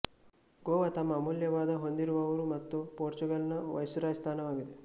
ಗೋವಾ ತಮ್ಮ ಅಮೂಲ್ಯವಾದ ಹೊಂದಿರುವವರು ಮತ್ತು ಪೋರ್ಚುಗಲ್ ನ ವೈಸ್ರಾಯ್ ಸ್ಥಾನವಾಗಿದೆ